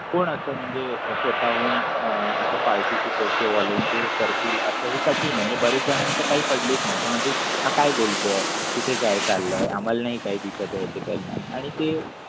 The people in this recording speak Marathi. कोण अस म्हणजे स्वतःहून अं अस पार्टीची करतील अस हे कठीण आहे बऱ्याच जणांना काही पडली नाही. म्हणजे काय बोलतोय? कुठे काय चाललंय आम्हालाही काही दिसत आहे ते पण आणि ते.